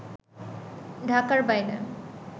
ঢাকার বাইরে